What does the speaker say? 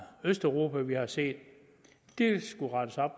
østeuropa vi har set